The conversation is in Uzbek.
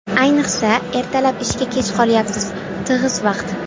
Ayniqsa, ertalab ishga kech qolyapsiz, tig‘iz vaqt.